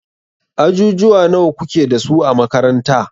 Ajujuwa nawa kuke dasu a makaranta?